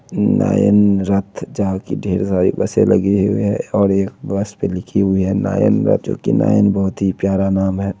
नयन रथ जहां की ढेर सारी बसें लगी हुई है और एक बस पर लिखी हुई है नयन रथ जो की नयन बहुत ही प्यारा नाम है।